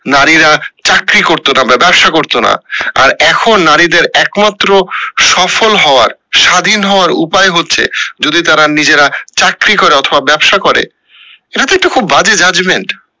নারীরা চাকরি করতো না বা ব্যাবসা করতো না, আর এখন নারীদের একমাত্র সফল হওয়ার স্বাধীন হওয়ার উপায় হচ্ছে যদি তারা নিজেরা চাকরি করে অথবা ব্যাবসা করে, যদিও এটা খুব বাজে judgement